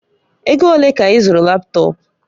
Ego ole ka ị zụrụ laptọọpụ?